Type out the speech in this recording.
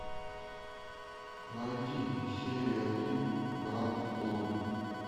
найди серию один гранд тур